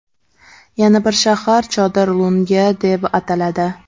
Yana bir shahar Chodir Lunga deb ataladi.